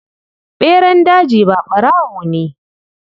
Ɓeran daji ba ɓarawo ne.